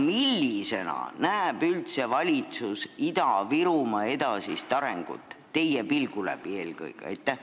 Millisena näeb valitsus üldse Ida-Virumaa edasist arengut, teie pilgu läbi eelkõige?